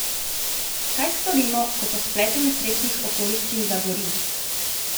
Kaj storimo, ko po spletu nesrečnih okoliščin zagori?